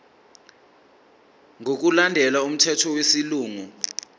ngokulandela umthetho wesilungu